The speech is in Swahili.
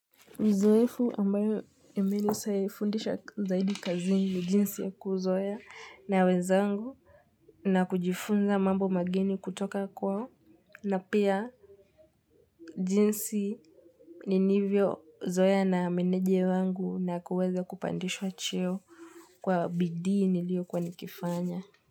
Uzoefu ambayo imenifundisha zaidi kazini ni jinsi yaku uzoea na wenzangu na kujifunza mambo mageni kutoka kwao na pia jinsi ni nivyo zoea na meneja wangu na kuweza kupandishwa cheo kwa bidii niliyokuwa nikifanya.